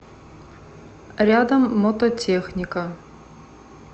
рядом мототехника